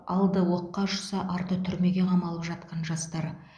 алды оққа ұшса арты түрмеге қамалып жатқан жастар